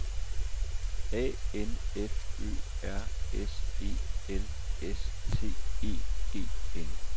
A N F Ø R S E L S T E G N